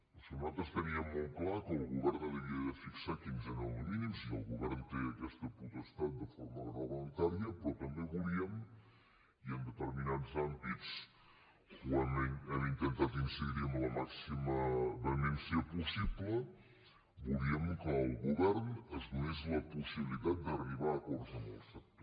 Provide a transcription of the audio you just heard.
o sigui nosaltres teníem molt clar que el govern havia de fixar quins eren els mínims i el govern té aquesta potestat de forma reglamentària però també volíem i en determinats àmbits hem intentat incidir hi amb la màxima vehemència possible que el govern es donés la possibilitat d’arribar a acords amb el sector